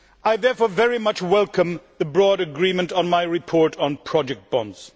I therefore very much welcome the broad agreement on my report on project bonds.